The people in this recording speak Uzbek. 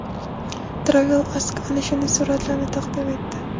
Travel Ask ana shunday suratlarni taqdim etdi.